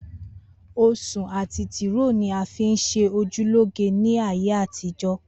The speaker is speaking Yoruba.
Osun ati tiro ni a fi nṣe oju loge ni aye àtijọ.